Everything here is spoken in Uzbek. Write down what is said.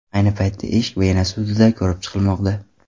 Ayni paytda ish Vena sudida ko‘rib chiqilmoqda.